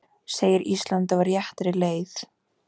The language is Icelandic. Segir Ísland á réttri leið